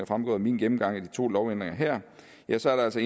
fremgået af min gennemgang af de to lovændringer her ja så er der altså